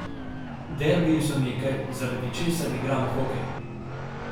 Derbiji so nekaj, zaradi česar igramo hokej.